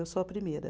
Eu sou a primeira.